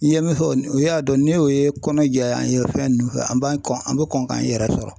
N ye min fɔ o y'a dɔn n'o ye kɔnɔ jɛya anw ye fɛn ninnu fɛ an b'an kɔn an bɛ kɔn k'an yɛrɛ sɔrɔ.